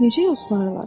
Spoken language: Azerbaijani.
Necə yoxlayırlar?